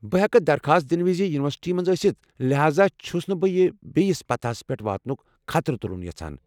بہٕ ہٮ۪کہٕ درخواست دنہٕ وِزِ یونیورسٹی منٛز ٲستھ لہذا چھُس نہٕ بہٕ یہِ بییِس پتاہس پیٹھ واتنُك خطرٕ تُلُن یژھان ۔